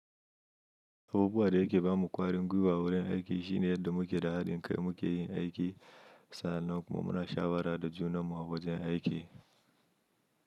Abubuwan dayake bamu ƙwarin gwiwa wurin aiki shine yadda muke da haɗin kai muke yin aiki sa'annan kuma muna shawara da junammu a wajen aiki.